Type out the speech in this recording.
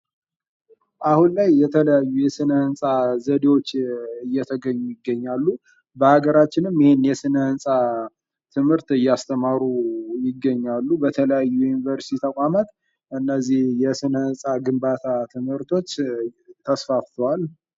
አሁን ላይ የተለያዩ የስነ ህንፃ ዘዴዎችን እየተገኙ ይገኛሉ። በአገራችንም የስነ ህንፃ ትምህርት እያስተማሩ የሚገኛሉ በተለያዩ ዩኒቨርስቲ ተቋማት እነዚህ የስነፃ ግንባታ ትምህርቶች ተስፋፍተዋል።